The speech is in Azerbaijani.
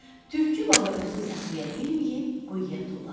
Tülkü baba özünü saxlaya bilməyib quyuya tullandı.